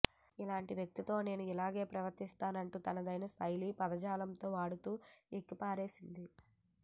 నీలాంటి వ్యక్తితో నేను ఇలాగే ప్రవర్తిస్తానంటూ తనదైన శైలి పదజాలం వాడుతూ ఏకిపారేసింది